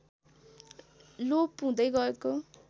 लोप हुँदै गएको